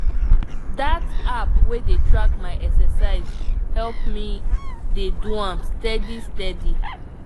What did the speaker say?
that app wey dey track my exercise help me dey do am steady steady.